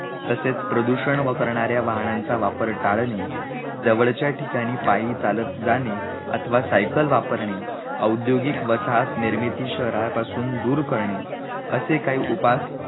तसेच प्रदूषण व करणार्या वाहनांचा वापर टाळणे जवळच्या ठिकाणी पायी चालत जाणे, अथवा सायकल वापरणे, औद्योगिक वसाहत निर्मिती शहरापासून दूर करणे असे काही उपास